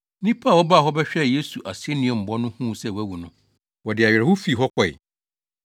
Nnipa a wɔbaa hɔ bɛhwɛɛ Yesu asennuambɔ no huu sɛ wawu no, wɔde awerɛhow fii hɔ kɔe.